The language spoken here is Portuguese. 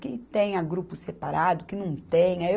Que tenha grupo separado, que não tenha.